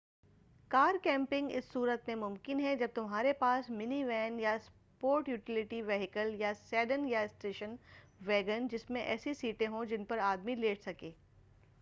کار camping اسی صورت میں ممکن ہے جب تمہارے پاس منی وین یا سپورٹ یوٹیلیٹی ویھیکل یا سیڈن یا اسٹیشن ویگن جس میں ایسی سیٹیں ہوں جن پر آدمی لیٹ سکے